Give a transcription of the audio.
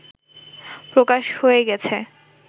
প্রকাশ হয়ে গেছে